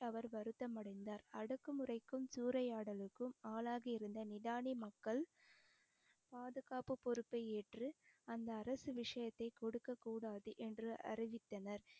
அவர் வருத்தம் அடைந்தார் அடக்குமுறைக்கும் சூறையாடலுக்கும் ஆளாகியிருந்த நிடானி மக்கள் பாதுகாப்பு பொறுப்பை ஏற்று அந்த அரசு விஷயத்த கொடுக்கக் கூடாது என்று அறிவித்தனர்